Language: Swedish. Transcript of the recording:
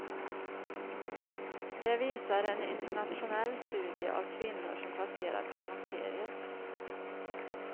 Det visar en internationell studie av kvinnor som passerat klimakteriet.